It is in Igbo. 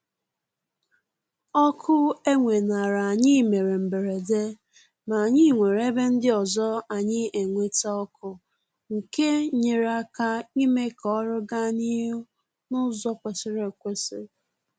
Ọkụ e weenara anyị mere mberede ma anyị nwere ebe ndị ọzọ anyị enweta ọkụ nke nyere aka ime k'ọrụ gaa n'ihu n'ụzọ kwesịrị ekwesị